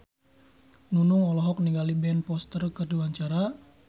Nunung olohok ningali Ben Foster keur diwawancara